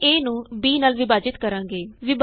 ਅਸੀਂ a ਨੂੰ b ਨਾਲ ਵਿਭਾਜਿਤ ਕਰਾਂਗੇ